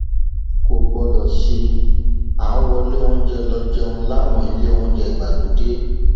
kò gbọdọ sí à ń wọlé oúnjẹ lọọ jẹun láwọn ilé oúnjẹ ìgbàlódé